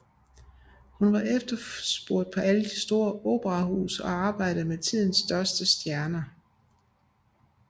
Hun var efterspurgt på alle store operahuse og arbejdede med tidens største stjerner